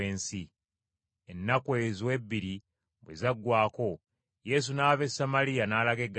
Ennaku ezo ebbiri bwe zaggwaako, Yesu n’ava e Samaliya n’alaga e Ggaliraaya.